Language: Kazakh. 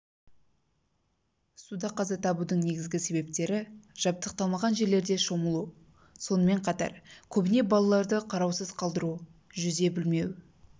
суда қаза табудың негізгі себебі жабдықталмаған жерлерде шомылу сонымен қатар көбіне балаларды қараусыз қалдыру жүзе білмеу